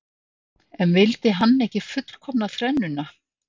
En vildi hann ekki fullkomna þrennuna?